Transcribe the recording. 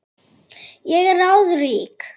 Ég er ráðrík.